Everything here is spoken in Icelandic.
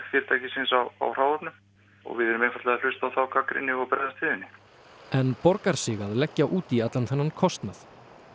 fyrirtækisins á á hráefnum og við erum einfaldlega að hlusta á þá gagnrýni og bregðast við henni en borgar sig að leggja út í allan þennan kostnað